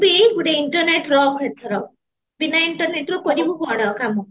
ବି ଗୁଟେ internet ରଖ ଏଥର ବିନା internet ରେ ବି କୁଆଡେ ବି ନୁହଁ